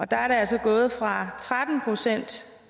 der er det altså gået fra tretten procent